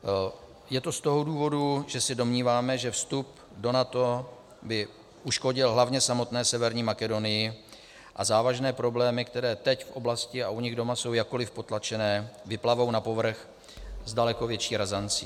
Je to z toho důvodu, že se domníváme, že vstup do NATO by uškodil hlavně samotné Severní Makedonii, a závažné problémy, které teď v oblasti a u nich doma jsou jakkoliv potlačené, vyplavou na povrch s daleko větší razancí.